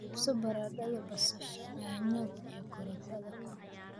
iibso baradhada, basasha, yaanyada iyo karootada